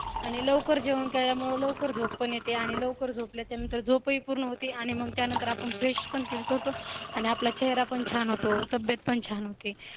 आणि लवकर जेवण केल्यामुळे लवकर झोप पण येते आणि लवकर झोपले त्यानंतर झोपे ही पूर्ण होते आणि मग त्यानंतर आपण fresh पण करतो आणि आपला चेहरा पण छान होतो तब्येत पण छान होते